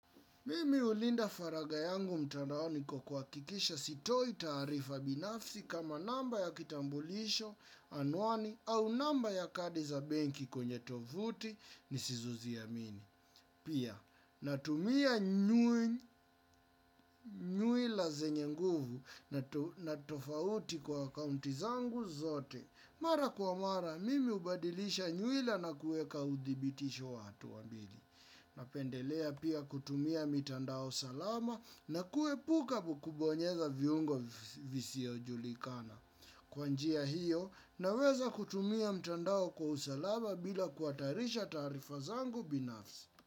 Mimi ulinda faraga yangu mtandaoni kwa kuhakikisha sitoi tarifa binafsi kama namba ya kitambulisho anwani au namba ya kadi za benki kwenye tovuti ni sizo zimini. Pia natumia nyuila zenye nguvu na tofauti kwa kaunti zangu zote. Mara kwa mara mimi ubadilisha nyuila na kueka udhibitisho watu wa mbili. Na pendelea pia kutumia mitandao salama na kuepuka kukubonyeza viungo visio julikana. Kwanjia hiyo naweza kutumia mitandao kwa usalama bila kuhatarisha taarifa zangu binafsi.